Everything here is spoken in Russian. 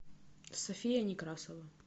софия некрасова